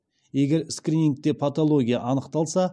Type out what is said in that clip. егер скринингте патология анықталса